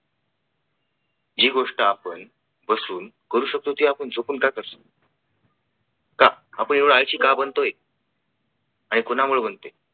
जी गोष्ट आपण बसून करू शकतो ती आपण झोपून का करतो का? आपण एवढ आळशी का बनतोय. आणि कोणामुळे बनतोय.